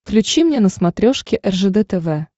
включи мне на смотрешке ржд тв